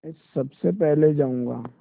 मैं सबसे पहले जाऊँगा